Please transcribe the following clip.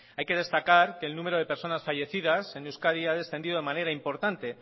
hay que destacar que el número de personas fallecidas en euskadi ha descendido de manera importante